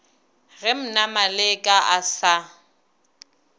ge mna maleka a sa